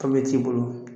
t'i bolo